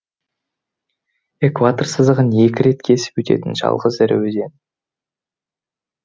экватор сызығын екі рет кесіп өтетін жалғыз ірі өзен